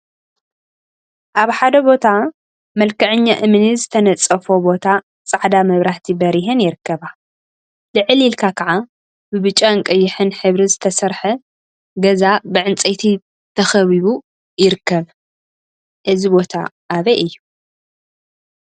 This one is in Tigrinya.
አብ ሓደ ቦ መልክዐኛ እምኒ ዝተነፀፎ ቦታ ፃዕዳ መብራህቲ በሪሀን ይርከባ፡፡ ልዕል ኢልካ ከዓ ብብጫን ቀይሕን ሕብሪ ዝተሰርሐ ገዛ ብዕንፀይቲ ተካቢቡ ይርከብ፡፡ እዚ ቦታ አበይ እዩ?